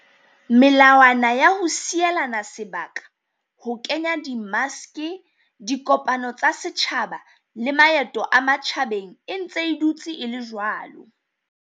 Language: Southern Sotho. Melawana ya ho sielana sebaka, ho kenya di maske, dikopano tsa setjhaba le maeto a matjhabeng e ntse e dutse e le jwalo.